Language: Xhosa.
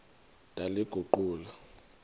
ndaliguqula